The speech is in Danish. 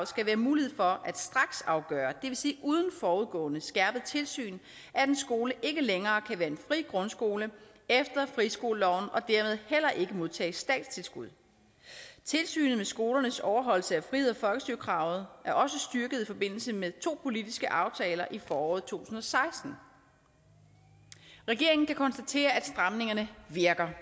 skal være mulighed for at straksafgøre det vil sige uden forudgående skærpet tilsyn at en skole ikke længere kan være en fri grundskole efter friskoleloven og dermed heller ikke modtage statstilskud tilsynet med skolernes overholdelse af friheds og folkestyrekravet er også styrket i forbindelse med to politiske aftaler i foråret tusind og seksten regeringen kan konstatere at stramningerne virker